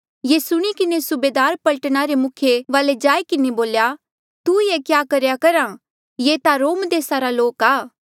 ये सुणी किन्हें सूबेदार पलटना रे मुखिया वाले जाई किन्हें बोल्या तू ये क्या करेया करहा ये ता रोम देसा रे लोक आ